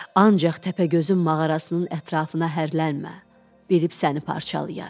Ancaq Təpəgözün mağarasının ətrafına hərlənmə, bilib səni parçalayar.